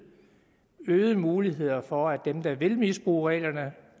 øgede muligheder for at dem der vil misbruge reglerne